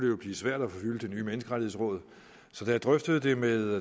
jo blive svært at fylde det nye menneskerettighedsråd da jeg drøftede det med